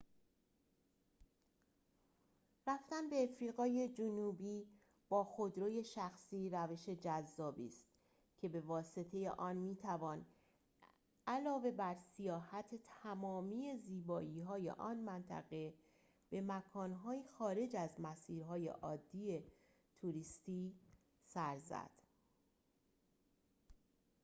رفتن به آفریقای جنوبی با خودروی شخصی روش جذابی است که به واسطه آن می‌توان علاوه بر سیاحت تمامی زیبایی‌های آن منطقه به مکان‌های خارج از مسیرهای عادی توریستی سر زد